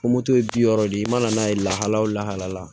Ko moto ye bi wɔɔrɔ de ye i mana n'a ye lahala o lahaliya la